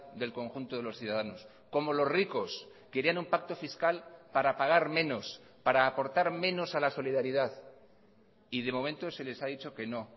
del conjunto de los ciudadanos como los ricos querían un pacto fiscal para pagar menos para aportar menos a la solidaridad y de momento se les ha dicho que no